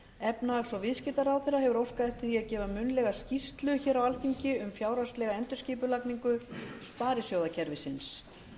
efnahags og viðskiptaráðherra hefur óskað eftir því að gefa munnlega skýrslu hér á alþingi um fjárhagslega endurskipulagningu sparisjóðakerfisins